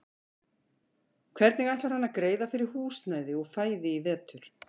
Hvernig ætlar hann að greiða fyrir húsnæði og fæði í vetur?